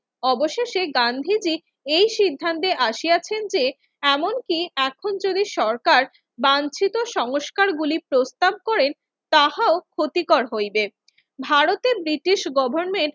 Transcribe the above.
অবশেষে গান্ধীজি এই সিদ্ধান্তে আসিয়াছেন যে, এমনকি এখন যদি সরকার বাঞ্ছিত সংস্কারগুলি প্রস্তাব করেন তাহাও ক্ষতিকর হইবে। ভারতে ব্রিটিশ গভর্নমেন্ট